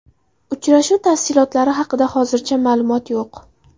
Uchrashuv tafsilotlari haqida hozircha ma’lumot yo‘q.